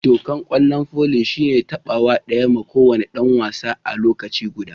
Dokan kwallon foli shine tabawa daya ma ko wani dan wasa a lokaci guda.